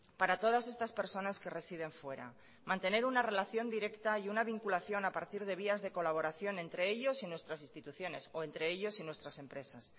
para todas estas personas que residen fuera mantener una relación directa y una vinculación a partir de vías de colaboración entre ellos y nuestras instituciones o entre ellos y nuestras empresas